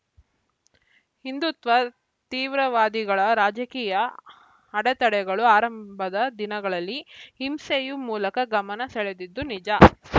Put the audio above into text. ಹಿಂದುತ್ವ ತೀವ್ರವಾದಿಗಳ ರಾಜಕೀಯ ಅಡತಡೆಗಳು ಆರಂಭದ ದಿನಗಳಲ್ಲಿ ಹಿಂಸೆಯು ಮೂಲಕ ಗಮನ ಸೆಳೆದಿದ್ದು ನಿಜ